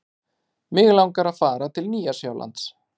Mig langar að fara til Nýja-Sjálands.